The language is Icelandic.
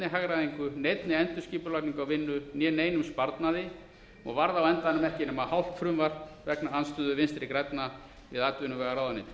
hagræðingu neinni endurskipulagningu á vinnu né neinum sparnaði og varð á endanum ekki nema hálft frumvarp vegna andstöðu vinstri grænna við atvinnuvegaráðuneytið